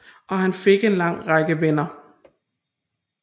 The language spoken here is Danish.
Og han fik en lang række venner